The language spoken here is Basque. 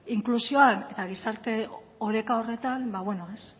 inklusioan eta gizarte oreka horretan ba